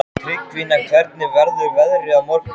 Tryggvína, hvernig verður veðrið á morgun?